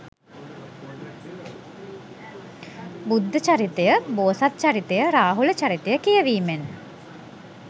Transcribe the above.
බුද්ධ චරිතය, බෝසත් චරිතය, රාහුල චරිතය කියවීමෙන්